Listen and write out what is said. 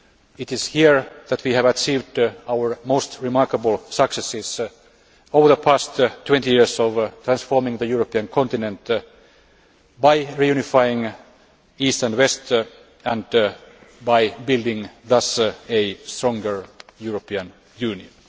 It is here that we have achieved our most remarkable successes over the past 20 years of transforming the European continent by reunifying East and West and thus building a stronger European Union.